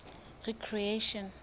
recreation